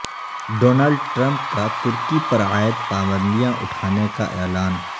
Donald Trump کا ترکی پر عائد پابندیاں اٹھانے کا اعلان